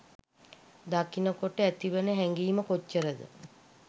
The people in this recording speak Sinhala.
දකින කොට ඇතිවන හැඟීම කොච්චරද.